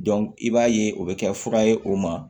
i b'a ye o bɛ kɛ fura ye o ma